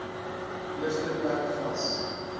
eerste plek vas